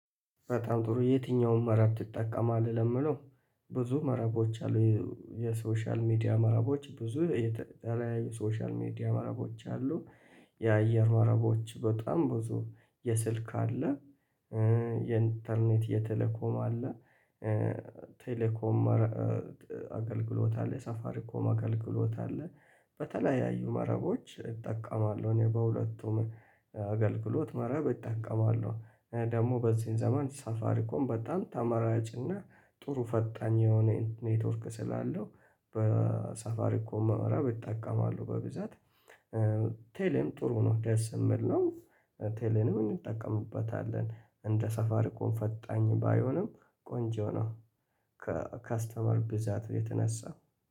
በጣም ጥሩ የትኛውን መረብ ትጠቀማለህ ለምለው ብዙ መረቦች አሉ የ የሶሻል ሚዲያ መረቦች ብዙ የተለያየ ሶሻል ሚዲያ መረቦች አሉ። የአየር መረቦች በጣም ብዙ የስልክ አለ። የኢንተርኔት የቴለኮም አለ። ቴሌኮም አገልግሎት አለ ሳፋሪኮም አገልግሎት አለ። በተለያዩ መረቦች እጠቀማለሁ እኔ በሁለቱም አገልግሎት መረብ እጠቀማለሁ። ደግሞ በዚህን ዘመን ሳፋሪኮም በጣም ተመራጭና ጥሩ ፈጣኝ የሆነ ኔትወርክ ስላለው በሳፋሪኮም መረብ እጠቀማሁ በብዛት። ቴሌም ጥሩ ነው ደስ ምል ነው። ቴሌንም እንጠቀምበታለን እንደ ሳፋሪኮም ፈጣኝ ባይሆንም ቆንጆ ነው። ከከስተመር ብዛት የተነሳ